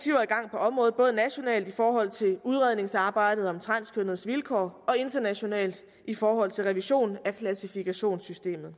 området både nationalt i forhold til udredningsarbejdet om transkønnedes vilkår og internationalt i forhold til revision af klassifikationssystemet